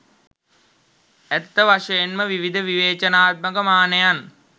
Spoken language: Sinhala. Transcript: ඇත්ත වශයෙන්ම විවිධ විවේචනාත්මක මානයන්